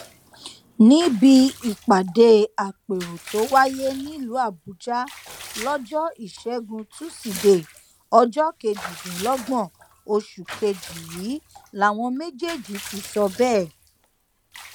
níbi ìpàdé àpérò tó wáyé nílùú àbújá lọjọ ìṣẹgun tusidee ọjọ kejìdínlọgbọn oṣù kejì yìí làwọn méjèèjì ti sọ bẹẹ